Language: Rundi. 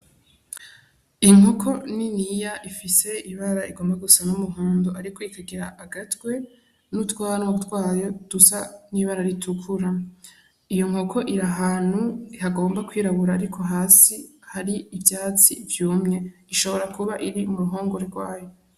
Inkoko niniya Ifise ibara igomba gusa n'umuhondo ariko ikagira agatwe n'utwanwa twayo dusa n'ibara ritukura, iyo nkoko iri ahantu hagomba kwirabura ariko hasi hari ivyatsi vyumye ishobora kuba iri mu ruhongore rwayo.